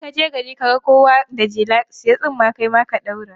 In ka je gari ka ga kowa da jela, sayi tsumma kai ma ka ɗaura.